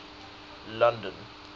london